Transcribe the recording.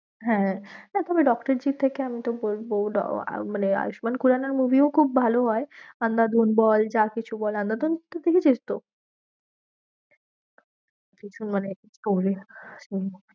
হ্যাঁ না তুমি ডক্টরজির থেকে আমি তো বলবো মানে আয়ুষ্মান খুরানার movie ও খুব ভালো হয়। কিছু মানে